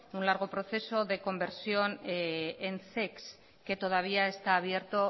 un largo proceso de conversión en zecs que todavía está abierto